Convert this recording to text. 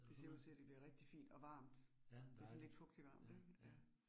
Det ser ud til, at det bliver rigtig fint og varmt. Det sådan lidt fugtigt varmt ik? Ja